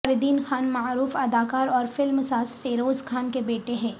فردین خان معروف اداکار اور فلم ساز فیروز خان کے بیٹے ہیں